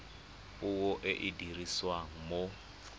puo e e dirisiwang mo